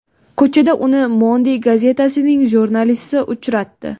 Ko‘chada uni Monde gazetasining jurnalisti uchratdi.